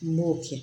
N b'o kɛ